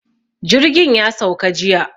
Jirgin ya sauka jiya.